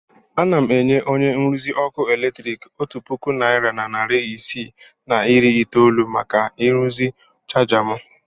Ana m enye onye nruzi ọkụ eletrik otu puku naịra na narị isii na iri itoolu maka ịrụzi chaja m.